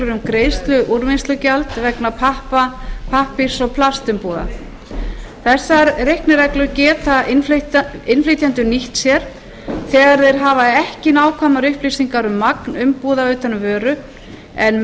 um greiðslu úrvinnslugjald vegna pappa pappírs og plastumbúða þessar reiknireglur geta innflytjendur nýtt sér þegar þeir hafa ekki nákvæmar upplýsingar um magn umbúða utan um vöru en